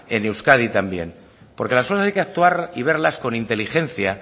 en euskadi también porque las cosas hay que actuar y verlas con inteligencia